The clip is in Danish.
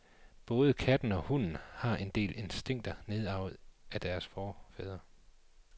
Både katten og hunden har en del instinkter nedarvet fra deres forfædre.